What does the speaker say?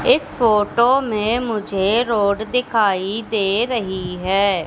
इस फोटो में मुझे रोड दिखाई दे रही है।